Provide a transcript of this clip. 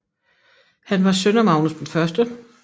Han var søn af Magnus 1